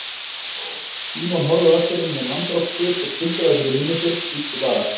Símon horfði á eftir honum með manndrápssvip og tuldraði fyrir munni sér: Bíddu bara.